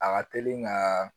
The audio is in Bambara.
A ka teli ka